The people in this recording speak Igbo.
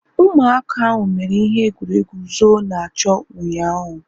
Ụmụaka ahu mere ihe egwuregwu zoo-na-achọ ụnyaahụ